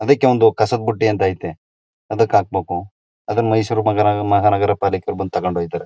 ಅದಕ್ಕೆಒಂದು ಕಸದ ಬುಟ್ಟಿ ಅಂತ ಅಯ್ತೆ ಅದಕ ಹಾಕ್ಬೇಕು ಅದನ್ನ ಮೈಸೂರು